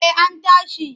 Eh an tashi.